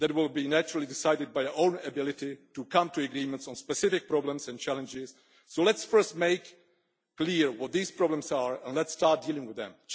That will naturally be decided by our own ability to come to agreements on specific problems and challenges, so let us first make clear what these problems are and let us start dealing with them.